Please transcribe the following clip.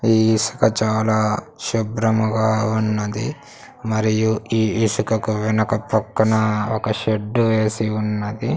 ఈ ఇసుక చాలా శుభ్రముగా ఉన్నది మరియు ఈ ఇసుకకు వెనక పక్కన ఒక షెడ్డు వేసి ఉన్నది.